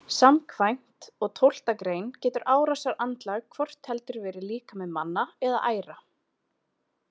Samkvæmt og tólfta grein getur árásarandlag hvort heldur verið líkami manna eða æra.